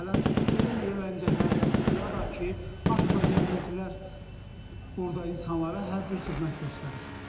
Məsələn, belə yeniləncəklər qurulub ya da ki, atla gəzintilər burada insanlara hər cür xidmət göstərir.